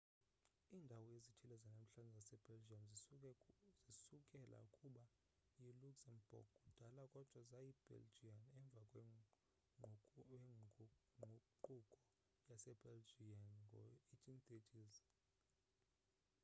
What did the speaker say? iindawo ezithile zanamhlanje zasebelgium zisukela kuba yiluxembourg kudala kodwa zayi yibelgian emva kwengququko yase belgian ngo 1830s